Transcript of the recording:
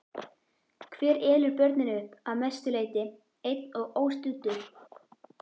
Hver elur börnin upp, að mestu leyti einn og óstuddur?